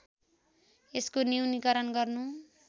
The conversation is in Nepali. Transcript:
यसको न्यूनीकरण गर्नु